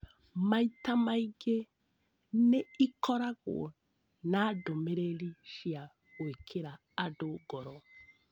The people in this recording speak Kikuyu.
Maita maingĩ, nĩ ikoragwo na ndũmĩrĩri cia gwĩkĩra andũ ngoro.